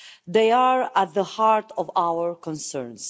They are at the heart of our concerns.